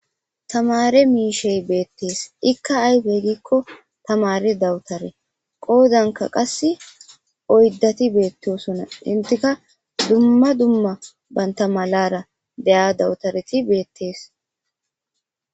tamare miishey beettees ikka ayfe gikko tamare dawutare qoozanka qass oyddati beettosona intika dumma dumma baynta malara deya dawutareti beettees